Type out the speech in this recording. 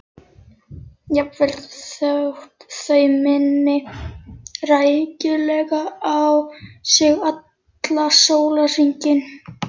Jafnvel þótt þau minni rækilega á sig allan sólarhringinn.